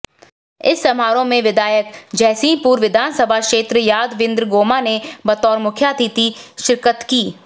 इस समारोह में विधायक जयसिंहपुर विधानसभा क्षेत्र यादविंद्र गोमा ने बतौर मुख्यातिथि शिरकत की